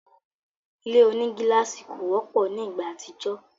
Ile onigílàsì kò wọ́pọ̀ ni ìgbà àtijọ́